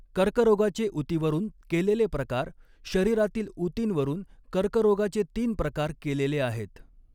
कर्करोगाचे ऊतीवरून केलेले प्रकार शरीरातील ऊतींवरून कर्करोगाचे तीन प्रकार केलेले आहेत.